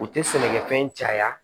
U tɛ sɛnɛkɛfɛn caya